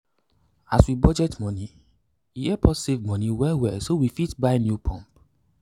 as we budget money e help us save money well well so we fit buy new water pump.